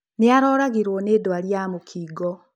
nĩaroragirwo nĩ ndwari ya mũkingo.